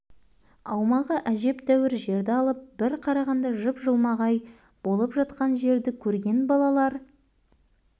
аумағы әжептәуір жерді алып бір қарағанда жып-жылмағай болып жатқан жерді көрген балалар